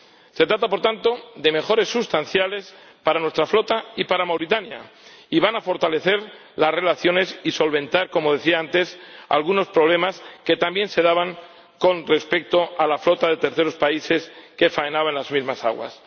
Se trata, por tanto, de mejoras sustanciales para nuestra flota y para Mauritania, y van a fortalecer las relaciones y solventar, como decía antes, algunos problemas que también se daban con respecto a la flota de terceros países que faenaba en las mismas aguas.